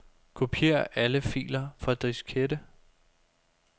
Kopier alle filer fra diskette.